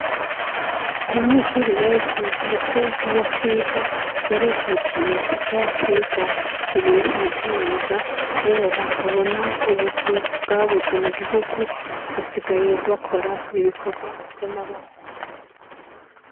Abanyeshuri benshi ndetse n'abatiga barijukiye kuja kwiga ibintu vy'imyuga kubera babona ubuzi bwabuze mugihugu basigaye bakora ibikorwa vy'amaboko.